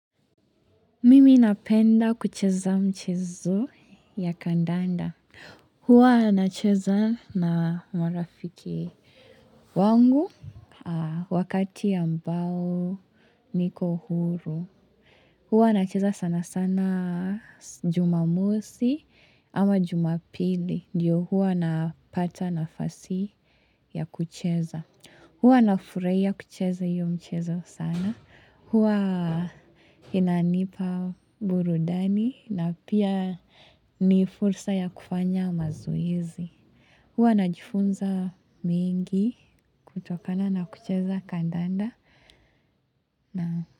Mimi napenda kucheza mchezo ya kandanda. Huwa nacheza na marafiki wangu wakati ambao niko huru. Huwa nacheza sana sana jumamosi ama jumapili. Ndiyo huwa napata nafasi ya kucheza. Huwa nafurahia kucheza hiyo mchezo sana. Huwa inanipa burudani na pia ni fursa ya kufanya mazoezi. Huwa najifunza mengi kutokana na kucheza kandanda.